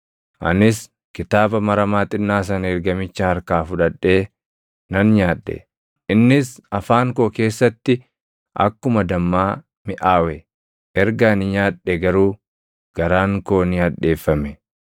Anis kitaaba maramaa xinnaa sana ergamicha harkaa fudhadhee nan nyaadhe. Innis afaan koo keessatti akkuma dammaa miʼaawe; erga ani nyaadhe garuu garaan koo ni hadheeffame.